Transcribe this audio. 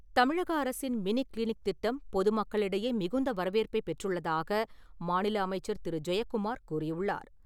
தமிழக அரசின் mini clinic திட்டம் பொது மக்களிடையே மிகுந்த வரவேற்பைப் பெற்றுள்ளதாக மாநில அமைச்சர் திரு. ஜெயக்குமார் கூறியுள்ளார்.